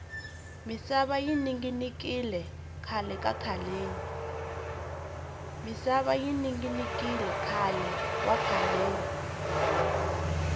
misava yi ninginikile khale wa khaleni